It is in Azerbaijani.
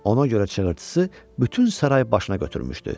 Ona görə çığırtısı bütün saray başına götürmüşdü: